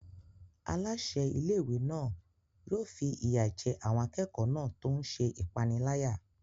Aláṣẹ ilé-ìwé náà yóò fi ìyà jẹ àwọn akẹ́kọ̀ọ́ náà tó ń ṣe ìpániláyà.